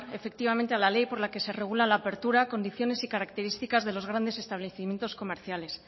efectivamente a la ley por la que se regula la apertura condiciones y características de los grandes establecimientos comerciales